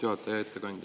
Hea ettekandja!